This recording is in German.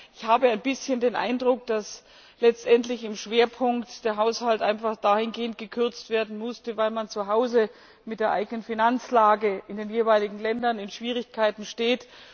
Allein, ich habe ein bisschen den Eindruck, dass letztendlich im Schwerpunkt der Haushalt einfach gekürzt werden musste, weil man zuhause mit der eigenen Finanzlage in den jeweiligen Ländern in Schwierigkeiten steckt.